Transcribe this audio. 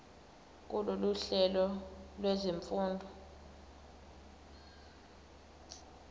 kulolu hlelo lwezifundo